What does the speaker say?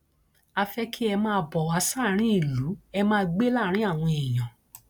a fẹ kí ẹ máa bọ wá sáàrin ìlú ẹ máa gbé láàrin àwọn èèyàn